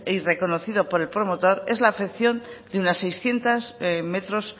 y reconocido por el promotor es la afección de unas seiscientos metros